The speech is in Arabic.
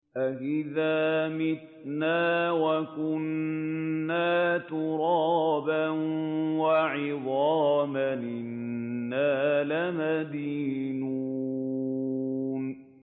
أَإِذَا مِتْنَا وَكُنَّا تُرَابًا وَعِظَامًا أَإِنَّا لَمَدِينُونَ